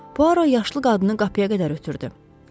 Puaro yaşlı qadını qapıya qədər ötürdü.